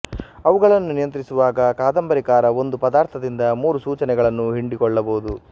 ಅವುಗಳನ್ನು ನಿಯಂತ್ರಿಸುವಾಗ ಕಾದಂಬರಿಕಾರ ಒಂದು ಪದಾರ್ಥದಿಂದ ಮೂರು ಸೂಚನೆಗಳನ್ನು ಹಿಂಡಿಕೊಳ್ಳಬಹುದು